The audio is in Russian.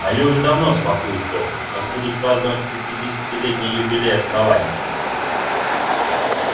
они уже давно смакуют то как будут праздновать пятидесятилетний юбилей основания